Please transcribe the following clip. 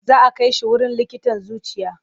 Za a kai shi wurin likitan zuciya.